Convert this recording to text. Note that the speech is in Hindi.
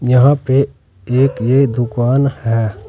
यहां पे एक ये दुकान है।